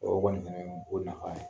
O kɔni fɛnɛ ye ko nafa ye.